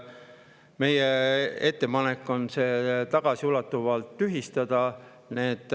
Meie ettepanek on see tagasiulatuvalt tühistada.